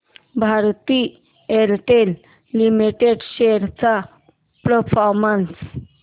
Bharti Airtel limited shares चा performance